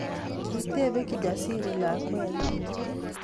Kitebee Kijasiri lakwenyii